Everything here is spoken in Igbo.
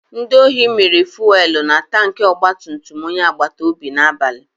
Ndị ohi mịrị fuwelu na tanki ogbatumtum onye agbatobi n'abalị.